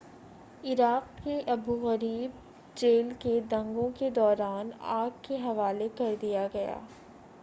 Iraq की Abu Ghraib jail को दंगे के दौरान आग के हवाले कर दिया गया